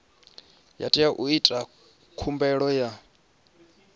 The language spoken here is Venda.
tea u ita khumbelo ya